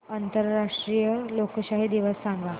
आंतरराष्ट्रीय लोकशाही दिवस सांगा